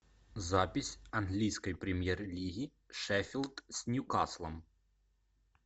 запись английской премьер лиги шеффилд с ньюкаслом